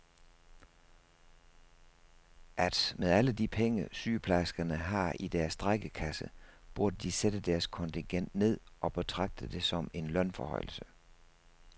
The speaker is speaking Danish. At med alle de penge, sygeplejerskerne har i deres strejkekasse, burde de sætte deres kontingent ned og betragte det som en lønforhøjelse.